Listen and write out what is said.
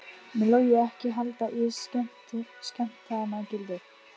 Mun Logi ekki halda í skemmtanagildið?